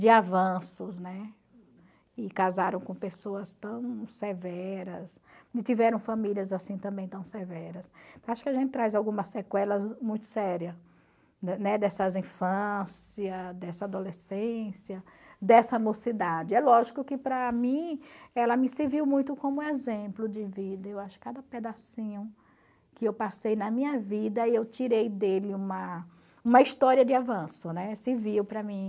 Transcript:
de avanços né e casaram com pessoas tão severas e tiveram famílias assim também tão severas acho que a gente traz algumas sequelas muito sérias né dessas infância dessa adolescência dessa mocidade é lógico que para mim ela me serviu muito como exemplo de vida eu acho cada pedacinho que eu passei na minha vida e eu tirei dele uma uma história de avanço né serviu para mim